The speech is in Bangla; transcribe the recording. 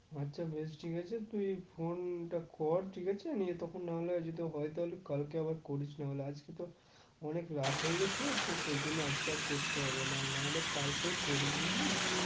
আচ্ছা বেশ ঠিক আছে তুই phone টা কর ঠিক আছে কালকে আবার করিস নাহলে আজকে তো অনেক রাত হয়ে গেছে তো সেজন্য আজকে আর করতে হবে না নাহলে কালকেই করিস বুঝলি?